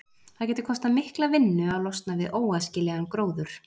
Það getur kostað mikla vinnu að losna við óæskilegan gróður.